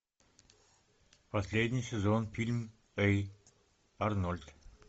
последний сезон фильм эй арнольд